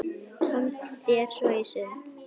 Komdu þér svo í sund.